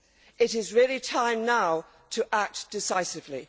It is really time now to act decisively.